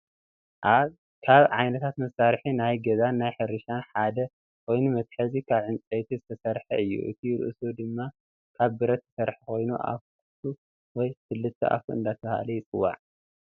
ካብ ዓይነታት መሳርሒ ናይ ገዛን ናይ ሕርሻን ሓድ ኮይኑ መትሓዚ ካብ ዕንፀይቲ ዝተሰረሐ እዩ እቲ ርእሱ ድማ ካብ ብረት ዝተሰረሐ ኮይኑ ኣፍ ኩቱ ወይ ክልተ ኣፉ እንዳተባሀለ ይፅዋዕ።